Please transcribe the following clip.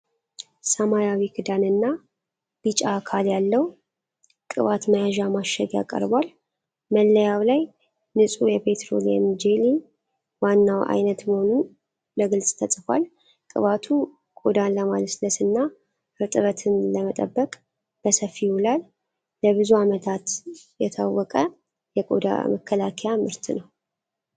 ሰማያዊ ክዳንና ቢጫ አካል ያለው ቅባት መያዣ ማሸጊያ ቀርቧል። መለያው ላይ ንፁህ የፔትሮሊየም ጄሊ፣ ዋናው ዓይነት መሆኑን በግልጽ ተጽፏል። ቅባቱ ቆዳን ለማለስለስና እርጥበት ለመጠበቅ በሰፊው ይውላል። ለብዙ ዓመታት የታወቀ የቆዳ መከላከያ ምርት ነው።